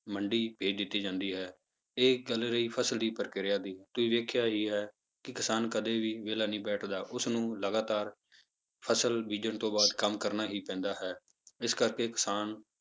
ਮੰਡੀ ਭੇਜ ਦਿੱਤੀ ਜਾਂਦੀ ਹੈ, ਇਹ ਗੱਲ ਰਹੀ ਫਸਲ ਦੀ ਪ੍ਰਕਿਰਿਆ ਦੀ, ਤੁਸੀਂ ਵੇਖਿਆ ਹੀ ਹੈ ਕਿ ਕਿਸਾਨ ਕਦੇ ਵੀ ਵਿਹਲਾ ਨਹੀਂ ਬੈਠਦਾ ਉਸਨੂੰ ਲਗਾਤਾਰ ਫਸਲ ਬੀਜਣ ਤੋਂ ਬਾਅਦ ਕੰਮ ਕਰਨਾ ਹੀ ਪੈਂਦਾ ਹੈ, ਇਸ ਕਰਕੇ ਕਿਸਾਨ